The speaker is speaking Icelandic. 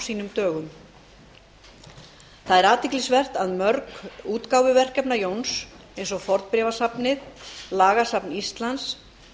sínum dögum það er athyglisvert að mörg útgáfuverkefna jóns eins og fornbréfasafnið lagasafn íslands